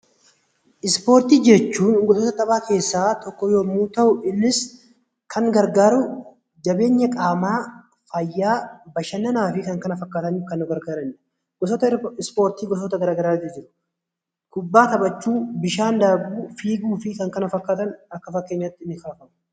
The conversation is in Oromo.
Ispoortii jechuun gosoota taphaa keessaa isa tokko yemmuu ta'u Innis Kan gargaaruu jabeenya qaamaa, fayyaa, bashannanaa fi Kan kana fakkaatanif Kan nu gargaaranidha. Gosoota ispoortii gosoota garaagaraa tu jiru kubbaa taphachuu, bishaan daakuu, fiiguu fi Kan kana fakkaatan akka fakkeenyaatti ni ka'u.